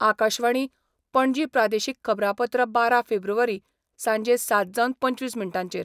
आकाशवाणी, पणजी प्रादेशीक खबरांपत्र बारा फेब्रुवारी, सांजे सात जावन पंचवीस मिनटांचेर